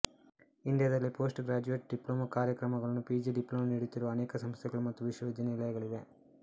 ಇಂಡಿಯಾದಲ್ಲಿ postgraduate diploma ಕಾರ್ಯಕ್ರಮಗಳನ್ನು PG diploma ನೀಡುತ್ತಿರುವ ಅನೇಕ ಸಂಸ್ಥೆಗಳು ಮತ್ತು ವಿಶ್ವವಿದ್ಯಾನಿಲಯಗಳಿವೆ